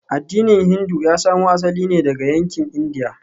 Addinin Hindu ya samo asali ne daga yankin Indiya.